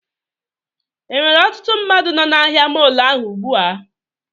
Enwere ọtụtụ mmadụ nọ na ahịa mọọlụ ahụ ugbu a?